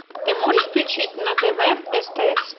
ты можешь включить на тв стс